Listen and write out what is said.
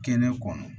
Kɛnɛ kɔnɔ